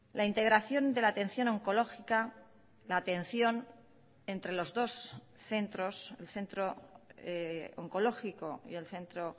la integración de la atención oncológica la atención entre los dos centros el centro oncológico y el centro